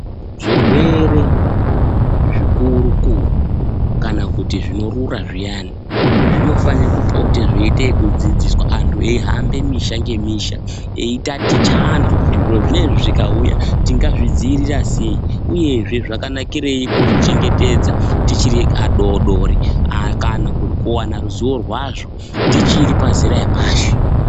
Zvirwere zvikuru kuru kana kuti zvinorura zviyani, zvinofane kupote zveiite yekudzidziswa antu eyihambe misha ngemisha eyitaticha antu kuti zviro zvinezvi zvikauya tingazvidziirira sei, uyezve zvakanakirei kuzvichengetedza tichiri adodori kana kuwana ruziwo rwazvo tichiri pazera epashi.